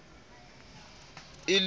e le ha o itshola